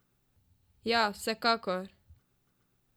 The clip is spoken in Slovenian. Ja, vsekakor!